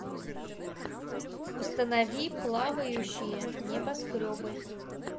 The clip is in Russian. установи плавающие небоскребы